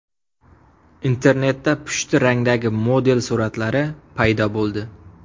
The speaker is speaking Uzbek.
Internetda pushti rangdagi model suratlari paydo bo‘ldi.